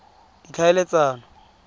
ditlhaeletsano